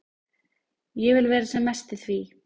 Ég vil vera sem mest í því.